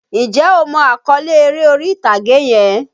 Njẹ́ o mọ àkọ́lé eré orí-ìtàgé yẹn?